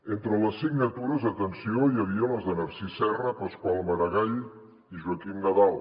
entre les signatures atenció hi havia les de narcís serra pasqual maragall i joaquim nadal